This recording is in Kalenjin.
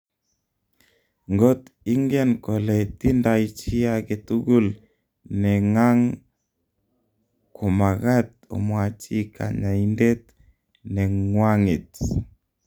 ngot ingen kole tindai chi age tugul nengang komakat omwachi kanyaindet nengwanget